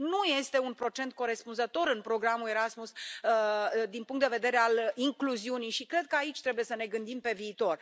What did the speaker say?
Nu este un procent corespunzător în programul Erasmus din punct de vedere al incluziunii și cred că aici trebuie să ne gândim pe viitor.